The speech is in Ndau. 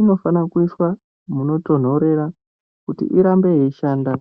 inofana kuiswa munotonhorera kuti irambe yeishanda.